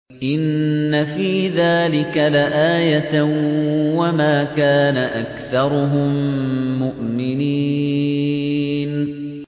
إِنَّ فِي ذَٰلِكَ لَآيَةً ۖ وَمَا كَانَ أَكْثَرُهُم مُّؤْمِنِينَ